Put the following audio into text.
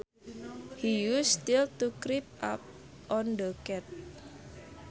He used stealth to creep up on the cat